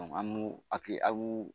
Ɔ An n'o aki ab'o